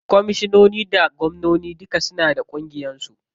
Komishinoni da gwamnoni duka suna da ƙungiyar su.